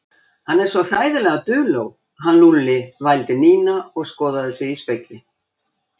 Hann er svo hræðilega duló, hann Lúlli vældi Nína og skoðaði sig í spegli.